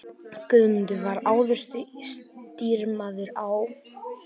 Guðmundur var áður stýrimaður á